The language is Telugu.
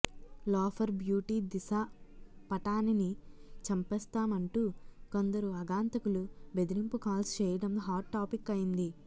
లోఫర్ బ్యూటీ దిశా పటానిని చంపేస్తామంటూ కొందరు ఆగంతకులు బెదిరింపు కాల్స్ చేయడం హాట్ టాపిక్ అయింది